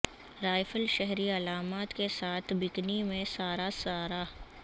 rifle شہری علامات کے ساتھ بکنی میں سارا سارہ